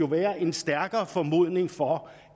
være en stærkere formodning for